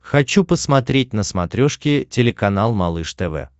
хочу посмотреть на смотрешке телеканал малыш тв